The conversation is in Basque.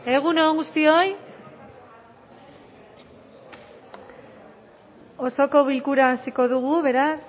egun on guztioi osoko bilkura hasiko dugu beraz